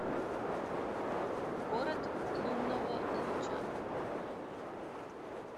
город лунного луча